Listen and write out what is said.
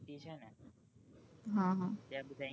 હ હ ત્યાં બધા english